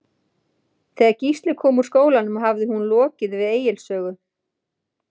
Þegar Gísli kom úr skólanum hafði hún lokið við Egils sögu.